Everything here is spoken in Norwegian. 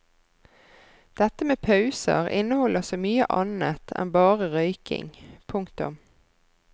Dette med pauser inneholder så mye annet enn bare røyking. punktum